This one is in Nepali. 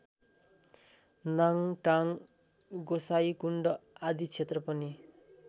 लाङटाङ गोसाइँकुण्ड आदि क्षेत्र पनि